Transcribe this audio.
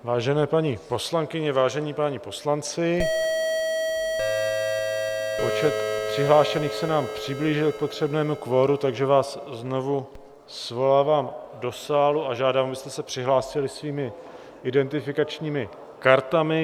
Vážené paní poslankyně, vážení páni poslanci, počet přihlášených se nám přiblížil k potřebnému kvoru, takže vás znovu svolávám do sálu a žádám, abyste se přihlásili svými identifikačními kartami.